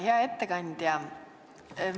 Hea ettekandja!